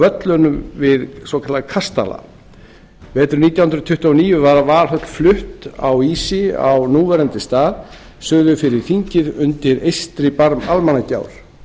völlunum við svokallaðan kastala veturinn nítján hundruð tuttugu og níu var valhöll flutt á ísi á núverandi stað suður fyrir þingið undir eystri barm almannagjár